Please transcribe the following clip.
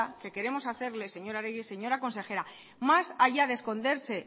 que queremos hacerle señora oregi señora consejera más allá de esconderse